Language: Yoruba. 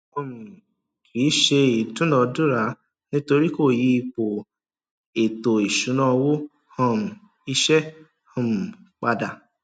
um kìí se ìdúnadúrà nítorí kò yí ipò ètò ìṣúná owó um iṣẹ um pada